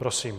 Prosím.